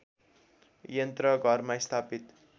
यन्त्र घरमा स्थापित